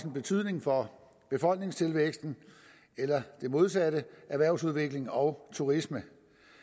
en betydning for befolkningstilvæksten eller det modsatte erhvervsudviklingen og turismen